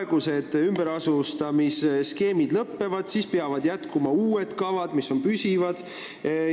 Kui ümberasustamine seniste skeemide alusel lõpeb, peab jätkama uute püsivate kavadega.